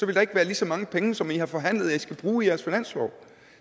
der ikke være lige så mange penge som i har forhandlet at i skal bruge i jeres finanslov